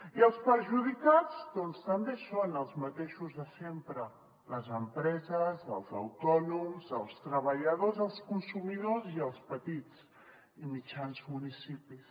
i els perjudicats doncs també són els mateixos de sempre les empreses els autònoms els treballadors els consumidors i els petits i mitjans municipis